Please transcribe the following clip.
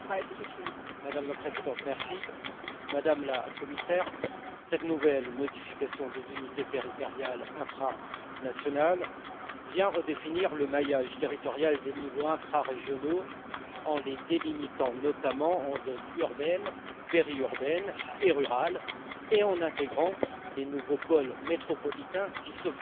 Madame la Présidente, Madame la Commissaire, cette nouvelle modification des unités territoriales infranationales vient redéfinir le maillage territorial des niveaux infrarégionaux en les délimitant notamment en zones urbaines, périurbaines et rurales, et en intégrant les nouveaux pôles métropolitains qui se font jour.